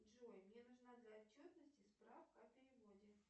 джой мне нужна для отчетности справка о переводе